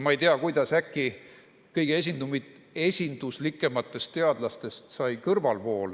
Ma ei tea, kuidas äkki kõige esinduslikumatest teadlastest sai kõrvalvool.